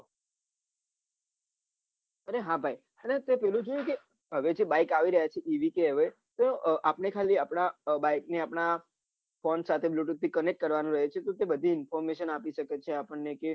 અરે હા ભાઈ અને તે પેલું જોયું કે હવે જે bike આવી રહ્યા છે એવી રીતે હવે તો આપને ખાલી આપડા bike ને આપડા phone સાથે bluethooth થી connect કરવાનું હોય છે કેમ કે બધી information આપી શકે છે આપણને કે